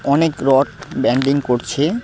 অনেক rod bending করছে।